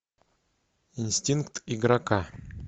инстинкт игрока